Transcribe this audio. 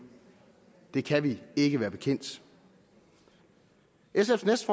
det kan vi ikke være bekendt sfs